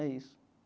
É isso.